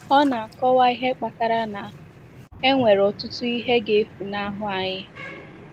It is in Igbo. Ọ na - akọwa ihe kpatara na “ E nwere ọtụtụ ihe ga - efunahụ anyị.